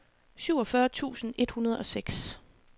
syvogfyrre tusind et hundrede og seks